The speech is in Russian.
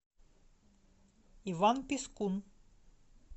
иван пискун